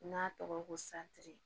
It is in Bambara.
N'a tɔgɔ ko santiri